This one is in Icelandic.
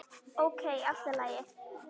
Ókei, allt í lagi.